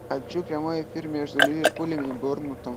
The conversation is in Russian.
хочу прямой эфир между ливерпулем и борнмутом